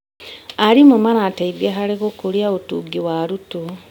Arimũ marateithia harĩ gũkũria ũtungi wa arutwo.